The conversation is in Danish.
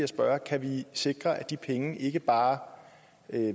spørger kan vi sikre at de penge ikke bare